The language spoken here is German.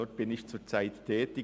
Dort bin ich zurzeit tätig.